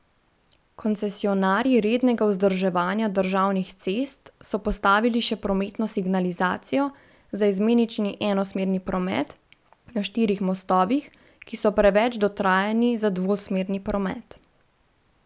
Koncesionarji rednega vzdrževanja državnih cest so postavili še prometno signalizacijo za izmenični enosmerni promet na štirih mostovih, ki so preveč dotrajani za dvosmerni promet.